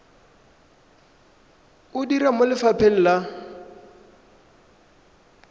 o dira mo lefapheng la